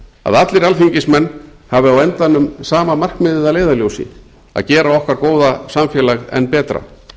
að allir alþingismenn hafi á endanum sama markmiðið að leiðarljósi að gera okkar góða samfélag enn betra